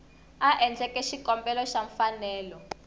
a endleke xikombelo xa mfanelo